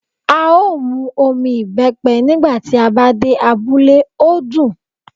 A ó mu omi ìbẹ́pe nígbà tí a bá dé abúlé, ó dún.